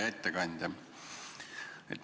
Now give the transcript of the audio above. Hea ettekandja!